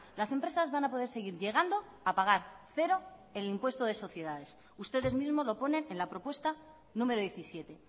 las empresas van a poder seguir llegando a pagar cero el impuesto de sociedades ustedes mismos lo ponen en la propuesta número diecisiete